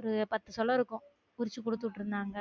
ஒரு பத்து சோள இருக்கும் உருச்சி குடுத்து உட்டுருந்தாங்க